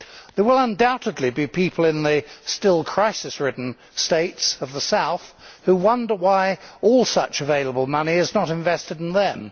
There will undoubtedly be people in the still crisis ridden states of the South who wonder why all such available money is not being invested there.